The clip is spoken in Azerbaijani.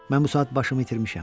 Mən bu saat başımı itirmişəm.